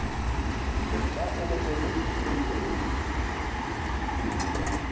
ka e ne e re